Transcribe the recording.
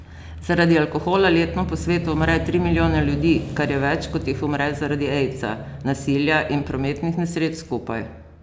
Zaradi alkohola letno po svetu umre tri milijone ljudi, kar je več, kot jih umre zaradi aidsa, nasilja in prometnih nesreč skupaj.